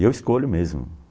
E eu escolho mesmo